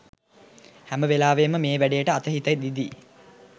හැම වෙලාවේම මේ වැඩේට අත හිත දිදී